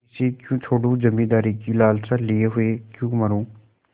इसे क्यों छोडूँ जमींदारी की लालसा लिये हुए क्यों मरुँ